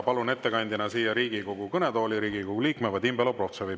Palun ettekandjana siia Riigikogu kõnetooli Riigikogu liikme Vadim Belobrovtsevi.